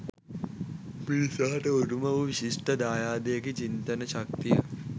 මිනිසාට උරුම වූ විශිෂ්ට දායාදයකි චින්තන ශක්තිය